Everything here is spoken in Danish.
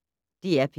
DR P1